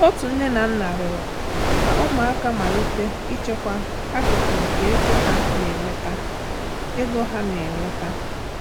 Otu nne na nna rịọrọ ka ụmụaka malite ichekwa akụkụ nke ego ha na-enweta. ego ha na-enweta.